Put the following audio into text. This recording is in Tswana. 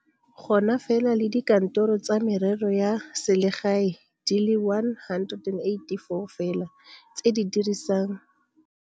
Go na fela le dikantoro tsa merero ya selegae di le 184 fela tse di dirisang thulaganyo eo e tlhokang gore baagi ba ye kwa go tsona go bona ditirelo mmogo le ditsha tsa go direla di le 411 go ralala naga.